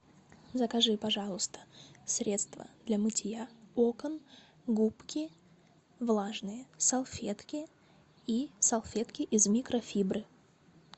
закажи пожалуйста средство для мытья окон губки влажные салфетки и салфетки из микрофибры